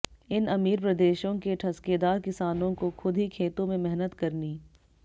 इन अमीर प्रदेशों के ठसकेदार किसानों को खुद ही खेतों में मेहनत करनी